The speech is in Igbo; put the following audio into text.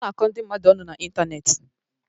Ọ na-akọ ndị mmadụ ọnụ na Ịntaneetị.